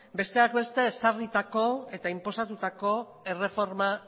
besteak beste ezarritako eta inposatutako erreforma